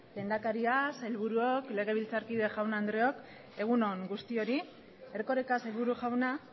lehendakaria sailburuok legebiltzarkide jaun andreok egun on guztioi erkoreka sailburu jauna